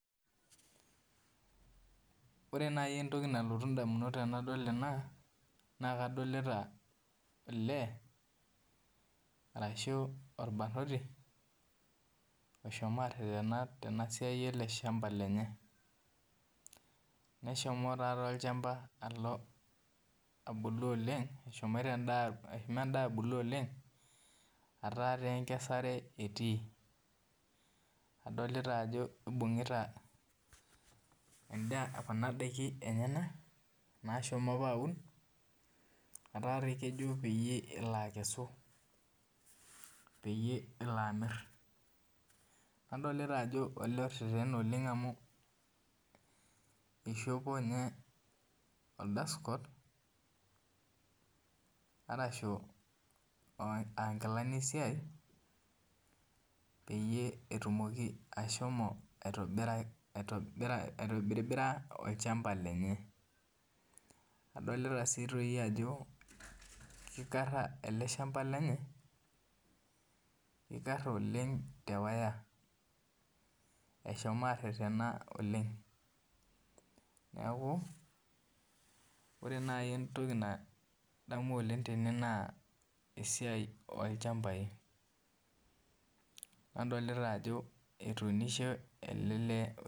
Ore nai entoki nalotu ndamunot tanadol ena na kadolta olee ashu orbarnoti oshomo aretena tenasiai ele shamba lenye neshomo na endaa abulu oleng ataa enkesare etii adolita ajo ibungita kuna dakin enyenak nashomo aaun ata kejo pelo amir adolta ajo olee orerena oleng amu ishopo nye dust coat ashu nkilani esiai peyie etumoki ashomo aitobira olchamba lenye adolta ajo kikara oleng eleshamba lenye tewire eshomo arerena oleng ore nai entoki nadamu tene na esiai olchambainadolta ajo etuunishe ele lee.